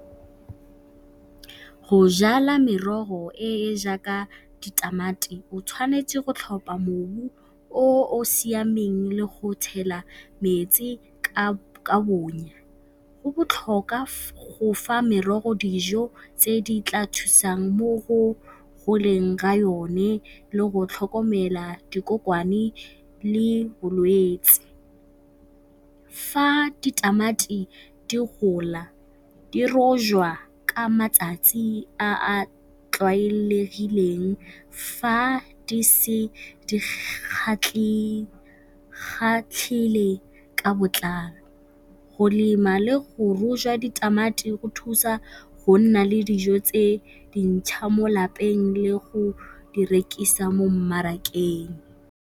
Go jala merogo e e jaaka ditamati o tshwanetse go tlhopha mobu o o siameng le go tshela metsi ka bonya. Go botlhokwa go fa merogo dijo tse di tla thusang mo go goleng ga yone le go tlhokomela dikokwane le bolwetse. Fa ditamati di gola di rojwa ka matsatsi a a tlwaelegileng. Fa di se ka botlalo, go lema le go rojwa ditamati go thusa go nna le dijo tse dintšha mo lapeng le go di rekisa mo mmarakeng.